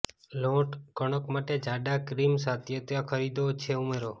લોટ કણક માટે જાડા ક્રીમ સાતત્યતા ખરીદ્યો છે ઉમેરો